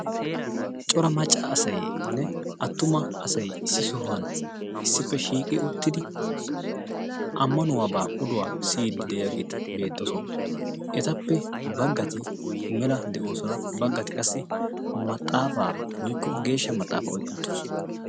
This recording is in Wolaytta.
cora macca asainne attuma asai issi sohuwan issippe shiiqi uttidi ammanuwaabaa oduwaa siyiiddi de7iyaageeti beettoosona etappe baggati mela de7oosona baggati qassi maxaafaa oikko geeshsha maxaafa oiqqi uttirosona